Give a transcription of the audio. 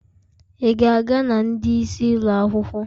Ị ga-aga na ndị isi ụlọ akwụkwọ?